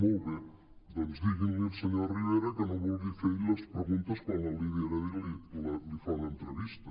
molt bé doncs diguin li al senyor rivera que no vulgui fer ell les preguntes quan la lídia heredia li fa una entrevista